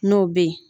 N'o bɛ ye